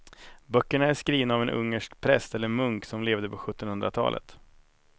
Böckerna är skrivna av en ungersk präst eller munk som levde på sjuttonhundratalet.